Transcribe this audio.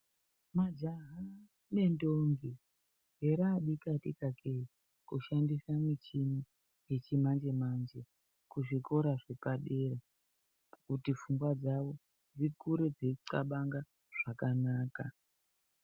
Majaya ngentombi heraa dikatika kee, kuhandisa michhini yechimanje-manje, kuzvikora zvepadera, kuti pfungwa dzawo dzikure dzeiqabanga zvakanaka.